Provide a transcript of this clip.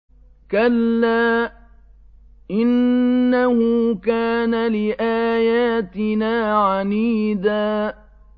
كَلَّا ۖ إِنَّهُ كَانَ لِآيَاتِنَا عَنِيدًا